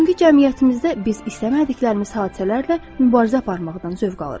Bugünkü cəmiyyətimizdə biz istəmədiyimiz hadisələrlə mübarizə aparmaqdan zövq alırıq.